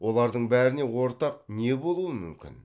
олардың бәріне ортақ не болуы мүмкін